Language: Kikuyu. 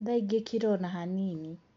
Thaĩngĩ kira ona hanini.